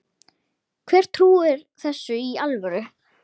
Hver trúir þessu í alvöru?